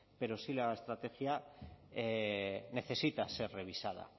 pero sí la estrategia necesita ser revisada